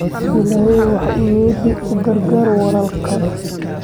Illahay waxa uu yidhi u gargaar walaalkaa